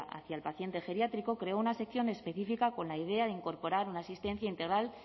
hacia el paciente geriátrico creó una sección específica con la idea de incorporar una asistencia integral